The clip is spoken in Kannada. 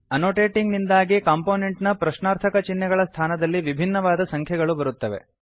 ಆನೊಟೇಟಿಂಗ್ ನಿಂದಾಗಿ ಕಂಪೊನೆಂಟ್ ನ ಪ್ರಶ್ನಾರ್ಥಕ ಚಿಹ್ನೆಗಳ ಸ್ಥಾನದಲ್ಲಿ ವಿಭಿನ್ನವಾದ ಸಂಖ್ಯೆಗಳು ಬರುತ್ತವೆ